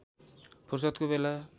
फुर्सदको बेला